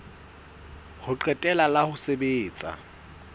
ho qetela la ho sebetsa